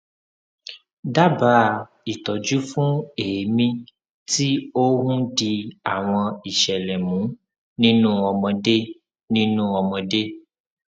dábàá ìtọjú fún èémí tí ó ń di àwọn ìṣẹlẹ mú nínú ọmọdé nínú ọmọdé